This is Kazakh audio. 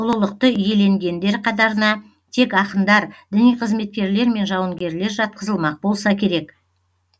ұлылықты иеленгендер қатарына тек ақындар діни қызметкерлер мен жауынгерлер жатқызылмақ болса керек